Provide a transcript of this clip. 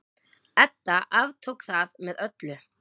Edda aftók það með öllu.